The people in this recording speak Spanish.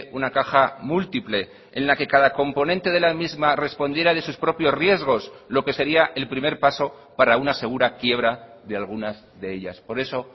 una caja múltiple en la que cada componente de la misma respondiera de sus propios riesgos lo que sería el primer paso para una segura quiebra de algunas de ellas por eso